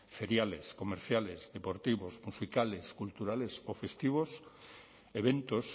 feriales comerciales deportivos musicales culturales o festivos eventos